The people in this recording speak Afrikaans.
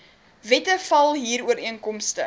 wette val huurooreenkomste